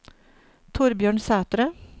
Thorbjørn Sætre